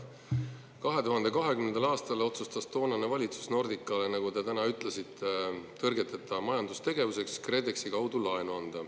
2020. aastal otsustas toonane valitsus anda Nordicale, nagu te täna ütlesite, tõrgeteta majandustegevuseks KredExi kaudu laenu.